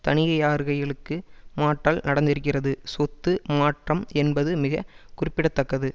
தனிகையார்கைகளுக்கு மாற்றல் நடந்திருக்கிறது சொத்து மாற்றம் என்பது மிக குறிப்பிட தக்கது